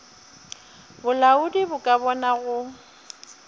bolaodi bo ka bona go